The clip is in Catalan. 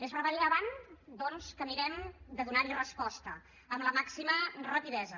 és rellevant doncs que mirem de donar hi resposta amb la màxima rapidesa